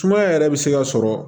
Sumaya yɛrɛ bɛ se ka sɔrɔ